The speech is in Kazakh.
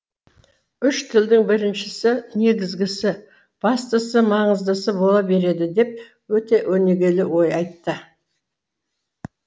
үш тілдің біріншісі негізгісі бастысы маңыздысы бола береді деп өте өнегелі ой айтты